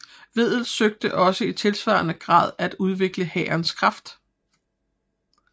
Wedel søgte også i tilsvarende grad at udvikle hærens kraft